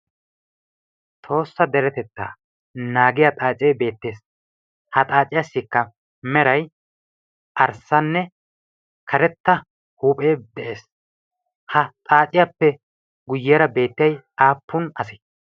toossa deretettaa naagiya xaacee beettees. ha xaaciyaassikka merai arssanne karetta huuphee de7ees. ha xaaciyaappe guyyera beettai aappun ase?